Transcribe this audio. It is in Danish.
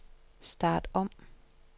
start om